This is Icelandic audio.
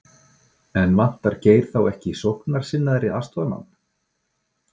En vantar Geir þá ekki sóknarsinnaðri aðstoðarmann?